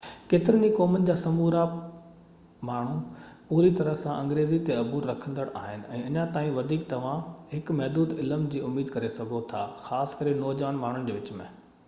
ڪيترين ئي قومن جا سمورا ماڻهو پوري طرح سان انگريزي تي عبور رکندڙ آهن ۽ اڃا تائين وڌيڪ توهان هڪ محدود علم جي اميد ڪري سگهو ٿا خاص ڪري نوجوان ماڻهن جي وچ ۾